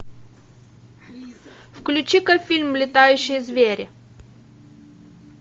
включи ка фильм летающие звери